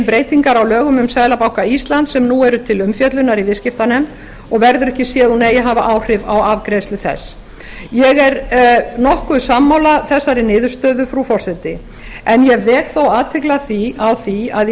breytingar á lögum um seðlabanka íslands sem nú eru til umfjöllunar í viðskiptanefnd og verður ekki séð að hún eigi að hafa áhrif á afgreiðslu þess ég er nokkuð sammála þessari niðurstöðu frú forseti en ég vek þó athygli á því að í